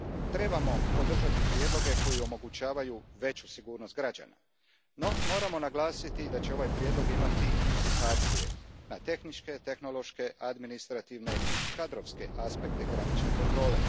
Trebamo podržati prijedloge koji omogućavaju veću sigurnost građana, no moramo naglasiti da će ovaj prijedlog imati implikacije na tehničke, tehnološke, administrativne i kadrovske aspekte granične kontrole.